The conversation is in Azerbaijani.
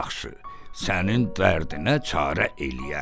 Yaxşı, sənin dərdinə çarə eləyərəm.